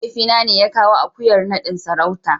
mahaifina ne ya kawo akuyar nadin sarauta.